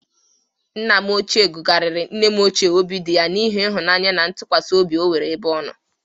Nna m ochie gụgarịrị nne m ochie obidịya n'ihi ịhụnaanya na ntụkwasị obi o nwere ebe ọ nọ.